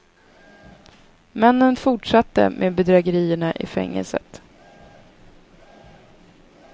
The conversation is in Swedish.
Männen fortsatte med bedrägerierna i fängelset.